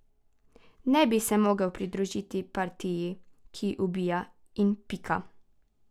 Ne bi se mogel pridružiti partiji, ki ubija, in pika.